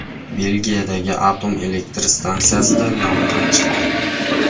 Belgiyadagi atom elektr stansiyasida yong‘in chiqdi.